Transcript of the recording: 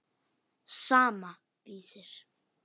Sama, Vísir.